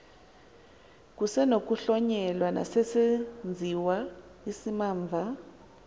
kusenokuhlonyelwa nesesenziwa isimamva